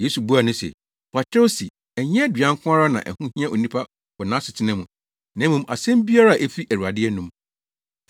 Yesu buaa no se, “Wɔakyerɛw se, ‘Ɛnyɛ aduan nko ara na ɛho hia onipa wɔ nʼasetena mu, na mmom asɛm biara a efi Awurade anom.’ ”